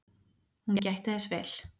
Hún gætti þess vel.